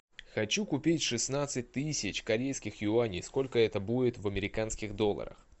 хочу купить шестнадцать тысяч корейских юаней сколько это будет в американских долларах